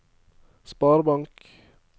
sparebank